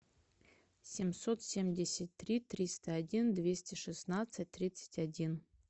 семьсот семьдесят три триста один двести шестнадцать тридцать один